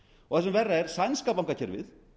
og það sem verra er sænska bankakerfið